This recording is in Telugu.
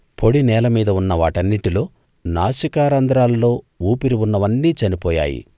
పొడి నేలమీద ఉన్న వాటన్నిటిలో నాసికారంధ్రాల్లో ఊపిరి ఉన్నవన్నీ చనిపోయాయి